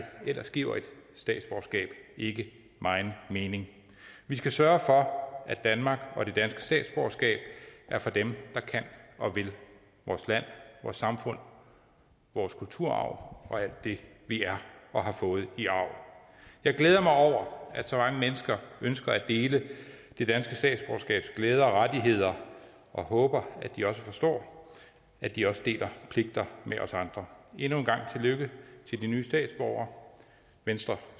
ellers giver et statsborgerskab ikke megen mening vi skal sørge for at danmark og det danske statsborgerskab er for dem der kan og vil vores land vores samfund vores kulturarv og alt det vi er og har fået i arv jeg glæder mig over at så mange mennesker ønsker at dele det danske statsborgerskabs glæder og rettigheder og håber at de også forstår at de også deler pligter med os andre endnu en gang tillykke til de nye statsborgere venstre